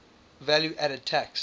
value added tax